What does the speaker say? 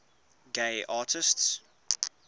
gay artists